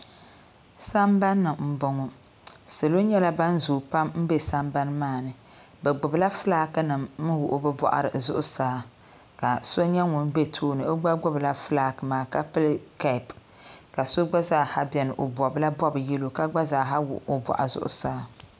Sambani m boŋɔ salo nyɛla ban zooi pam m be sambani maani bɛ gbibi la filaaki nima n wuɣi bɛ boɣari zuɣusaa ka so nyɛ ŋun be tooni o gba nyɛla ŋun gbibi filaaki maa ka pili kapu ka so gba zaaha biɛni o bobla bob'yelo ka gba zaaha wuɣi o boɣu zuɣusaa.